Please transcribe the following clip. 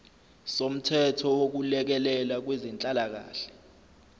somthetho wokulekelela kwezenhlalakahle